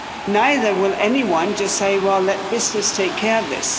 Neither will anyone just say, well, let business take care of this'.